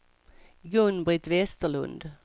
Gun-Britt Westerlund